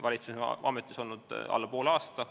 Valitsus on ametis olnud alla poole aasta.